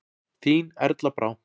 Þín Erla Brá.